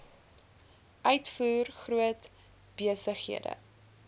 uitvoer groot besighede